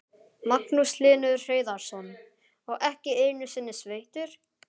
Magnús Hlynur Hreiðarsson: Og ekki einu sinni sveittur?